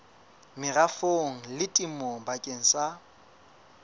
merafong le temong bakeng sa